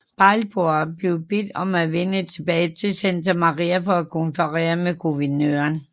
Balboa blev bedt om at vende tilbage til Santa Maria for at konferere med guvernøren